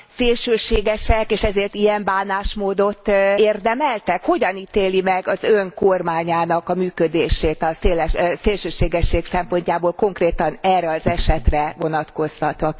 szélsőségesek és ezért ilyen bánásmódot érdemeltek? Hogyan ítéli meg az Ön kormányának a működését a szélsőségesség szempontjából, konkrétan erre az esetre vonatkoztatva?